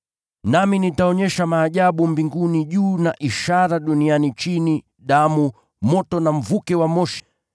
Nami nitaonyesha maajabu juu mbinguni, na ishara chini duniani: damu, moto, na mawimbi ya moshi.